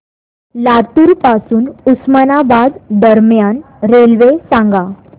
लातूर पासून उस्मानाबाद दरम्यान रेल्वे सांगा